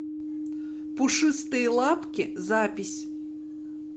пушистые лапки запись